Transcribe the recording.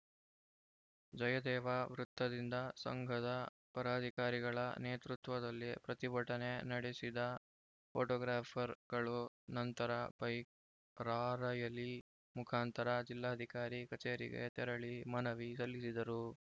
ಜಯದೇವ ವೃತ್ತದಿಂದ ಸಂಘದ ಪರಾಧಿಕಾರಿಗಳ ನೇತೃತ್ವದಲ್ಲಿ ಪ್ರತಿಭಟನೆ ನಡೆಸಿದ ಫೋಟೋಗ್ರಾಫರ್‌ ಗಳು ನಂತರ ಬೈಕ್‌ ರಾರ‍ಯಲಿ ಮುಖಾಂತರ ಜಿಲ್ಲಾಧಿಕಾರಿ ಕಚೇರಿಗೆ ತೆರಳಿ ಮನವಿ ಸಲ್ಲಿಸಿದರು